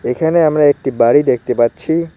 এখানে আমরা একটি বাড়ি দেখতে পাচ্ছি।